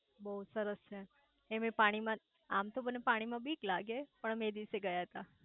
બહુ સરસ છે એમેય પાણી માં આમ તો મને પાણી માં બીક લાગે પણ અમે એ દિવસે ગયા તા